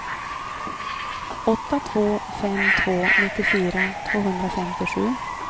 åtta två fem två nittiofyra tvåhundrafemtiosju